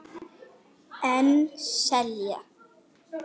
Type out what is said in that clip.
En selja.